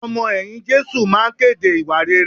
Àwọn ọmọ ẹ̀yìn Jésù máa kéde ìwà rere